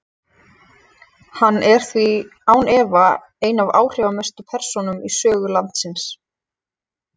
hann er því án efa ein af áhrifamestu persónum í sögu landsins